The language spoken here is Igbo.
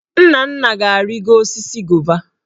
Nnanna ga-arịgo osisi gova.